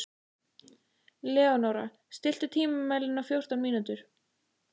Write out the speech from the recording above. Leónóra, stilltu tímamælinn á fjórtán mínútur.